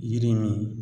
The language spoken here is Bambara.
Yiri min